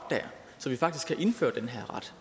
så vi faktisk kan indføre den her ret